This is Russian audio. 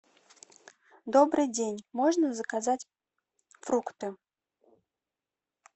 добрый день можно заказать фрукты